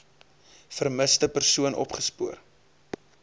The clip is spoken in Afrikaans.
vermiste persoon opgespoor